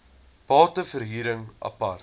bate verhuring apart